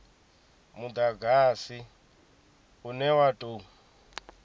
mudagasi une wa u tou